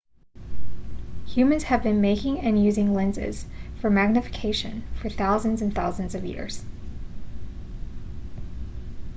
humans have been making and using lenses for magnification for thousands and thousands of years